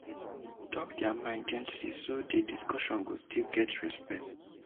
dem talk their mind gently so di discussion go still get respect